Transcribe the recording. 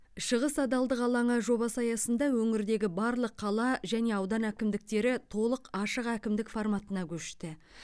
шығыс адалдық алаңы жобасы аясында өңірдегі барлық қала және аудан әкімдіктері толық ашық әкімдік форматына көшті